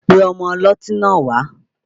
Pe ọmọ ọlọ́tí náà wá!